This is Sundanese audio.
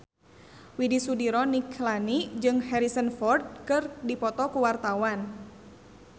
Widy Soediro Nichlany jeung Harrison Ford keur dipoto ku wartawan